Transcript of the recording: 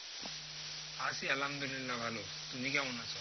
আছি আলহামদুলিল্লাহ ভালো তুমি কেমন আছো?